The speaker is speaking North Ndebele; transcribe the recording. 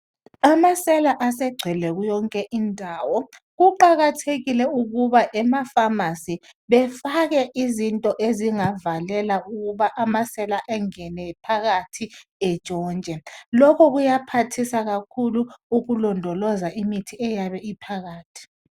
Amasela asegcwele yonke indawo kuqakathekile ukuba ema Famasi befake izinto ezingavalela ukuba amasela angene phakathi antshontshe, lokho kuyaphathisa ukulondoloza imithi eyabe ophakathi.